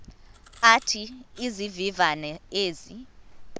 athi izivivane ezi